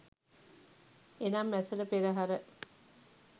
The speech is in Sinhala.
එනම් ඇසළ පෙරහර,